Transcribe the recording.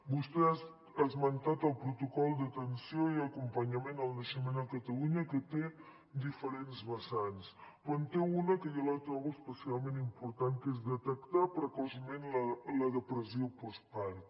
vostè ha esmentat el protocol d’atenció i acompanyament al naixement a catalunya que té diferents vessants però en té una que jo la trobo especialment important que és detectar precoçment la depressió postpart